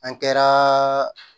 An kɛra